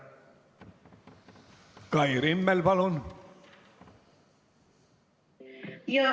Kai Rimmel, palun!